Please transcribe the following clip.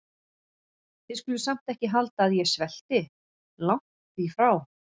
Þið skuluð samt ekki halda að ég svelti- langt því frá.